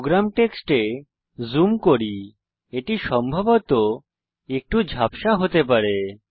programme টেক্সটে zoom করি এটি সম্ভবত একটু ঝাপসা হতে পারে